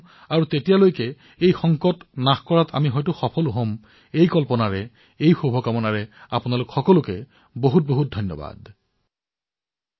তেতিয়ালৈ এই সংকটৰ পৰা মুক্ত হোৱাত আমি সফল হম এই কল্পনাৰ সৈতে এই শুভকামনাৰ সৈতে আপোনালোকক অশেষ ধন্যবাদ জ্ঞাপন কৰিছো